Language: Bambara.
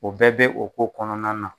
O bɛɛ bɛ o ko kɔnɔna na.